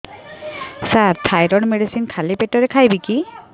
ସାର thyroid medicine ଖାଲି ପେଟରେ ଖାଇବି କି